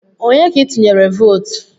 Onye ka itunyere vootu?